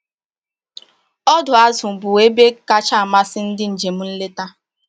Ọdọ azụ bụ ebe kacha amasị ndị njem nleta